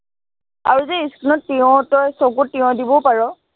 আৰু যে skin ত তিয়হ তই, চকুত তিয়হ দিবও পাৰ